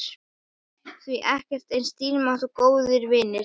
Því ekkert er eins dýrmætt og góðir vinir.